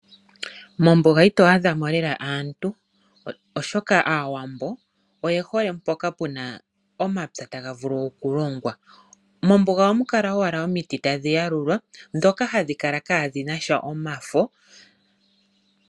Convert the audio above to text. Mombuga ito adha mo lela aantu, oshoka Aawambo oye hole mpoka puna omapya taga vulu okulongwa. Mombuga ohamu kala owala omiti tadhi yalulwa ndhoka hadhi kala kaadhina omafo.